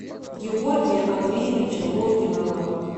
георгия андреевича логинова